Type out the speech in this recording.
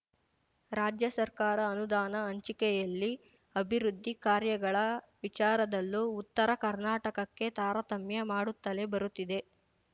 ರಾಜ್ಯ ಸರ್ಕಾರ ಅನುದಾನ ಹಂಚಿಕೆಯಲ್ಲಿ ಅಭಿವೃದ್ಧಿ ಕಾರ್ಯಗಳ ವಿಚಾರದಲ್ಲೂ ಉತ್ತರ ಕರ್ನಾಟಕಕ್ಕೆ ತಾರತಮ್ಯ ಮಾಡುತ್ತಲೇ ಬರುತ್ತಿದೆ